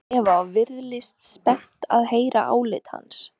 spyr Eva og virðist spennt að heyra álit hans.